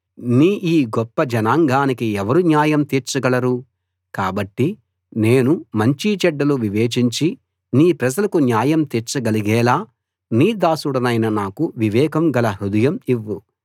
నీ ఈ గొప్ప జనాంగానికి ఎవరు న్యాయం తీర్చగలరు కాబట్టి నేను మంచి చెడ్డలు వివేచించి నీ ప్రజలకు న్యాయం తీర్చగలిగేలా నీ దాసుడినైన నాకు వివేకం గల హృదయం ఇవ్వు